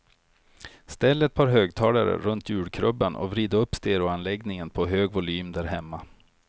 Ställ ett par högtalare runt julkrubban och vrid upp stereoanläggningen på hög volym där hemma.